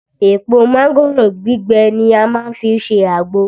Èpò mángòrò gbígbẹ ni a má ń fi ṣe àgbò